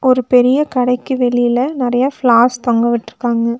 ஒரு பெரிய கடைக்கு வெளில நெறைய ஃப்ளார்ஸ் தொங்கவிட்ருக்காங்க.